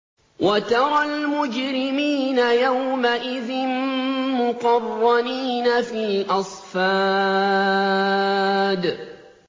وَتَرَى الْمُجْرِمِينَ يَوْمَئِذٍ مُّقَرَّنِينَ فِي الْأَصْفَادِ